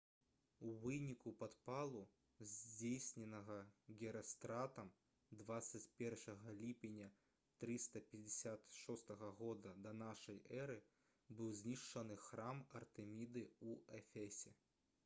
у выніку падпалу здзейсненага герастратам 21 ліпеня 356 г да нашай эры быў знішчаны храм артэміды ў эфесе